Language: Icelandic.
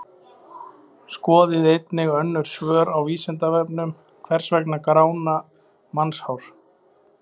Skoðið einnig önnur svör á Vísindavefnum: Hvers vegna grána mannshár?